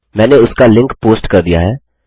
मैंने उसका link post कर दिया है